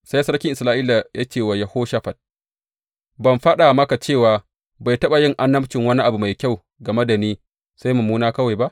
Sai sarkin Isra’ila ya ce wa Yehoshafat, Ban faɗa maka cewa bai taɓa yin annabci wani abu mai kyau game da ni, sai mummuna kawai ba?